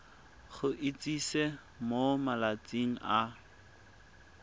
go itsise mo malatsing a